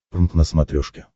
прнк на смотрешке